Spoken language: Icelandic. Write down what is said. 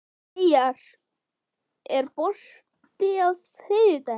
Eyjar, er bolti á þriðjudaginn?